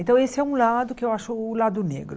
Então esse é um lado que eu acho o lado negro.